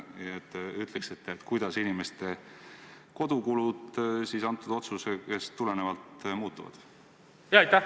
Kas te ütleksite, kuidas inimeste kodukulud sellest otsusest tulenevalt muutuvad?